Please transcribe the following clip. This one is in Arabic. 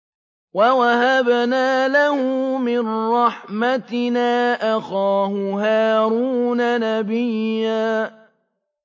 وَوَهَبْنَا لَهُ مِن رَّحْمَتِنَا أَخَاهُ هَارُونَ نَبِيًّا